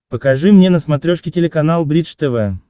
покажи мне на смотрешке телеканал бридж тв